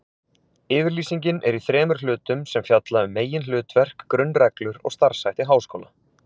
Yfirlýsingin er í þremur hlutum sem fjalla um meginhlutverk, grunnreglur og starfshætti háskóla.